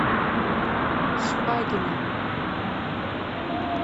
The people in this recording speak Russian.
шпагина